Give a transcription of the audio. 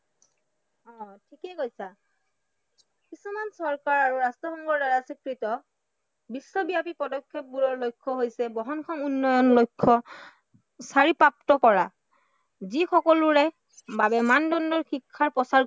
অ ঠিকেই কৈছা কিছুমান চৰকাৰ আৰু ৰাষ্ট্ৰসংঘৰ দ্বাৰা স্বীকৃত বিশ্বব্য়াপী পদক্ষেপবোৰৰ লক্ষ্য় হৈছে বহনক্ষম উন্নয়ন লক্ষ্য় কৰা যি সকলোৰে বাবে মানদণ্ডৰ শিক্ষাৰ প্ৰচাৰ কৰে